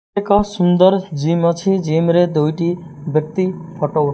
ଏକ ସୁନ୍ଦର ଜିମ୍ ଅଛି ଜିମ୍ ରେ ଦୁଇଟି ବ୍ୟକ୍ତି ଫଟ ଉ --